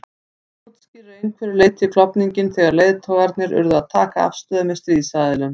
Það útskýrir að einhverju leyti klofninginn þegar leiðtogarnir urðu að taka afstöðu með stríðsaðilum.